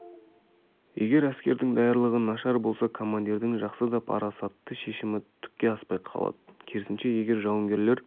егер әскердің даярлығы нашар болса командирдің жақсы да парасатты шешімі түкке аспай қалады керісінше егер жауынгерлер